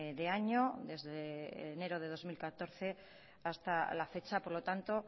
de año desde enero de dos mil catorce hasta la fecha por lo tanto